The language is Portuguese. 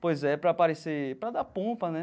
Pois é, para parecer... Para dar pompa, né?